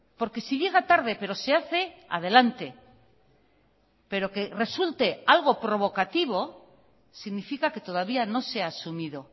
porque si llega tarde pero se hace adelante pero que resulte algo provocativo significa que todavía no se ha asumido